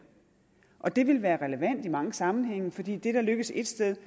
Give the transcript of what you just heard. og det vil være relevant i mange sammenhænge fordi det der lykkes et sted